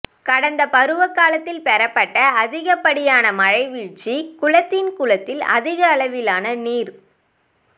கடந்த பருவகாலத்தில் பெறப்பட்ட அதிடிய மழைவீழ்ச்சி குளத்தின் குளத்தில் அதிகளவிலான நீர்